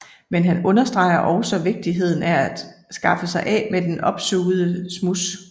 Men han understreger også vigtigheden af at skaffe sig af med det opsugede smuds